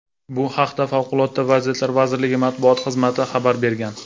Bu haqda Favqulodda vaziyatlar vazirligi matbuot xizmati xabar bergan .